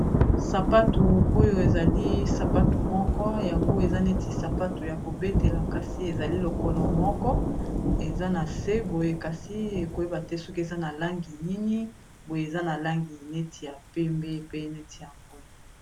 Sapatu oyo ezali sapatu moko yango eza neti sapato ya kobetela kasi ezali lokolo moko eza na se boye kasi ekoyeba te soki eza na langi nini boye eza na langi neti ya pembe pe neti ya mbwe.